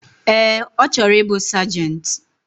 Ee, ochoro ibu Sergeant.